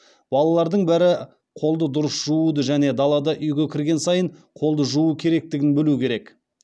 балалардың бәрі қолды дұрыс жууды және даладан үйге кірген сайын қолды жуу керектігін білу керек